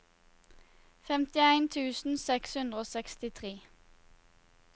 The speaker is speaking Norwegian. femtien tusen seks hundre og sekstitre